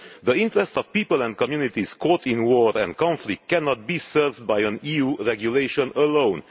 The interests of people and communities caught in war and conflict cannot be served by an EU regulation alone